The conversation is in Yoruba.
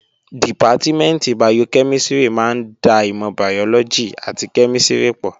Dìpátímẹ̀ntì bayokẹ́mísìrì máa ń da ìmọ̀ bàyọ́lọ́gì àti kẹ́mísìrì pọ̀